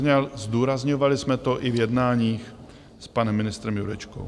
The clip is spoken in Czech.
Zdůrazňovali jsme to i v jednáních s panem ministrem Jurečkou.